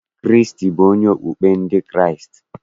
Kraịstị bụ onyeisi okpukpe ndị Kraịstị.